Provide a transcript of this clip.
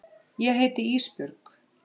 Ég heiti Ísbjörg.